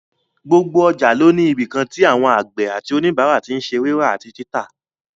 Gbogbo ọjà ló ní ibìkan tí àwọn àgbẹ̀ àti òníbàárà tí n ṣe rírà àti títà